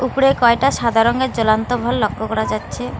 উপরে কয়টা সাদা রঙের জলন্ত ভালভ লক্ষ্য করা যাচ্ছে।